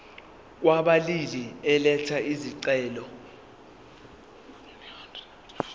kwababili elatha isicelo